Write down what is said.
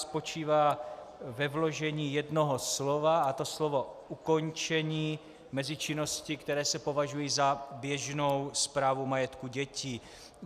Spočívá ve vložení jednoho slova, a to slova "ukončení", mezi činnosti, které se považují za běžnou správu majetku dětí.